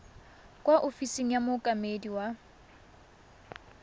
kwa ofising ya mookamedi wa